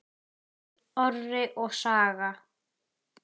Orri og Saga.